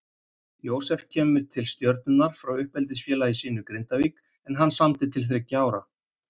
Jósef kemur til Stjörnunnar frá uppeldisfélagi sínu Grindavík en hann samdi til þriggja ára.